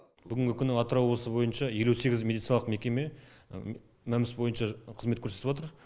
бүгінгі күні атырау облысы бойынша елу сегіз медициналық мекеме мәмс бойынша қызмет көрсетіватыр